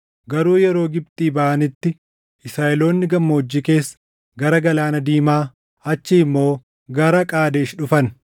Garuu yeroo Gibxii baʼanitti Israaʼeloonni gammoojjii keessa gara Galaana Diimaa, achii immoo gara Qaadesh dhufan.